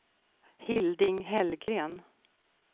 Hilding Hellgren